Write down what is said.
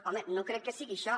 home no crec que sigui això